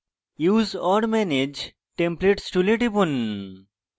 use or manage templates tool টিপুন